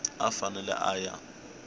a a fanele a ya